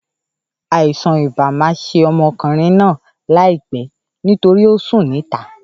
Àìsàn ibà ma ṣe ọmọkùnrin náà láìpé nítorí ọ sùn ní ìta